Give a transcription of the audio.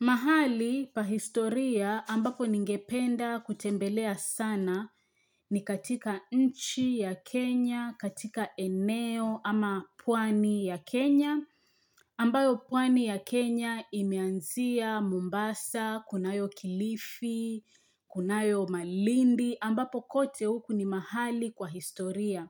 Mahali pa historia ambapo ningependa kutembelea sana ni katika nchi ya Kenya, katika eneo ama pwani ya Kenya, ambayo pwani ya Kenya imeanzia Mombasa, kunayo kilifi, kunayo malindi, ambapo kote huku ni mahali kwa historia.